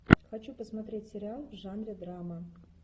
хочу посмотреть сериал в жанре драма